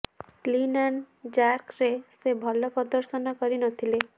clean and ଜାର୍କରେ ସେ ଭଲ ପଦର୍ଶନ କରି ନଥିଲେ